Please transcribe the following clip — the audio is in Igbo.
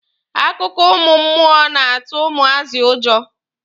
Akụkọ ụmụ mmụọ na-atụ ụmụazị ụjọ.